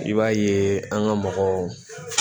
I b'a ye an ka mɔgɔw